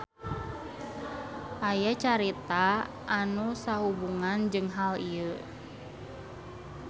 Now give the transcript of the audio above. Aya carita anu sahubungan jeung hal ieu.